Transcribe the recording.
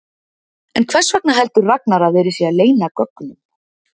En hvers vegna heldur Ragnar að verið sé að leyna gögnum?